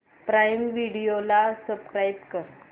prime Video ला subscribe कर